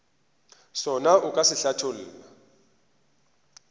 sona o ka se hlatholla